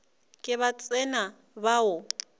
ke ba tsena ba o